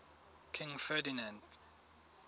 king ferdinand